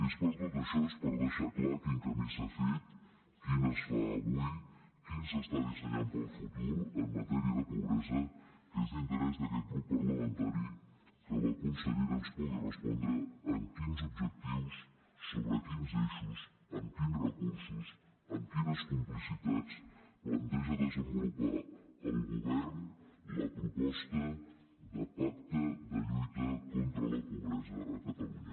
és per tot això és per deixar clar quin camí s’ha fet quin es fa avui quin s’està dissenyant per al futur en matèria de pobresa que és d’interès d’aquest grup parlamentari que la consellera ens pugui respondre amb quins objectius sobre quins eixos amb quins recursos amb quines complicitats planteja desenvolupar el govern la proposta de pacte de lluita contra la pobresa a catalunya